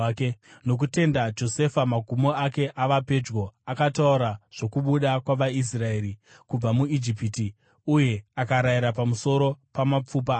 Nokutenda, Josefa, magumo ake ava pedyo, akataura zvokubuda kwavaIsraeri kubva muIjipiti uye akarayira pamusoro pamapfupa ake.